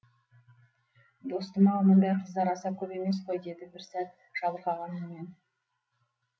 достым ау мұндай қыздар аса көп емес қой деді бір сәт жабырқаған үнмен